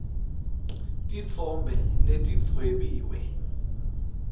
titfombe letidvwebiwe